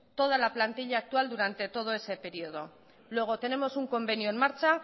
toda la plantilla actual durante todo ese periodo luego tenemos un convenio en marcha